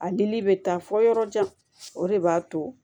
A dili bɛ taa fɔ yɔrɔ jan o de b'a to